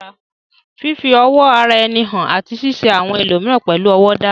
Fífi ọ̀wọ̀ ara ẹni hàn àti ṣíṣe àwọn ẹlòmíràn pẹ̀lú ọ̀wọ̀ dára